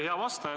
Hea vastaja!